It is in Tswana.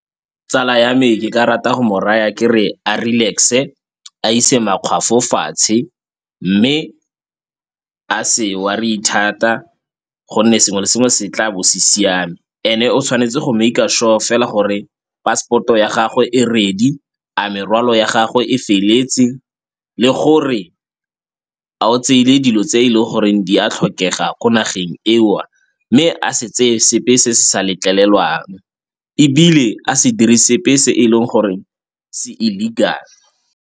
Tsala ya me ke ka rata go mo raya kere a relax-e a ise makgwafo fatshe, mme a se worry-e thata gonne sengwe le sengwe se tla bo se siame and-e o tshwanetse go make-a sure fela gore passport-o ya gagwe e ready, a merwalo ya gagwe e feleletse le gore a o tseile dilo tse e leng gore di a tlhokega ko nageng eo. Mme a se tse sepe se se sa letlelelwang ebile a se dire sepe se e leng gore se illegal.